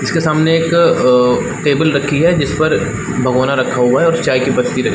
इसके सामने एक अ टेबल रखी है जिसपर भगोना रखा हुआ है और चाय की पत्ती रखी--